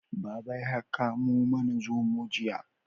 Baba ya kamo mana zomo jiya